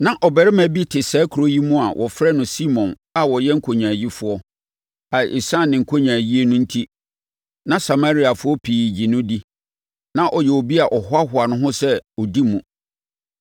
Na ɔbarima bi te saa kuro yi mu a wɔfrɛ no Simon a ɔyɛ nkonyaayifoɔ a ɛsiane ne nkonyaayie no enti, na Samariafoɔ pii gye no di. Na ɔyɛ obi a ɔhoahoa ne ho sɛ ɔdi mu.